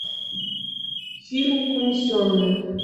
фильмик унесенные